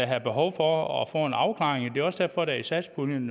havde behov for at få en afklaring det er også derfor at der i satspuljen